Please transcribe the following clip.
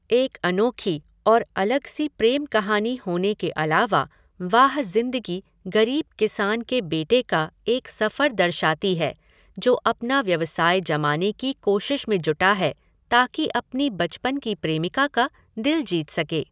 एक अनोखी और अलग सी प्रेम कहानी होने के अलावा वाह ज़िंदगी गरीब किसान के बेटे का एक सफ़र दर्शाती है, जो अपना व्यवसाय जमाने की कोशिश में जुटा है ताकि अपनी बचपन की प्रेमिका का दिल जीत सके।